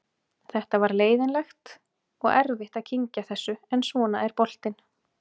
Þetta var leiðinlegt og erfitt að kyngja þessu en svona er boltinn.